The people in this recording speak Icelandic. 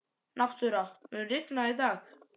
Náttúra, mun rigna í dag?